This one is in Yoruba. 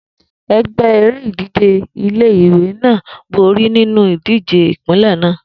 Egbe ere-ije ti ile-iwe naa bori ninu idije ipinlẹ naa